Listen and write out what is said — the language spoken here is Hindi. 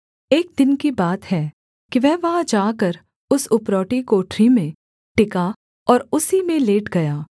एक दिन की बात है कि वह वहाँ जाकर उस उपरौठी कोठरी में टिका और उसी में लेट गया